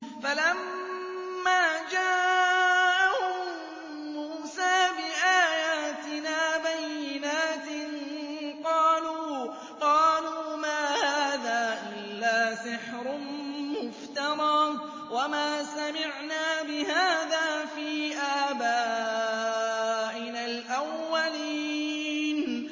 فَلَمَّا جَاءَهُم مُّوسَىٰ بِآيَاتِنَا بَيِّنَاتٍ قَالُوا مَا هَٰذَا إِلَّا سِحْرٌ مُّفْتَرًى وَمَا سَمِعْنَا بِهَٰذَا فِي آبَائِنَا الْأَوَّلِينَ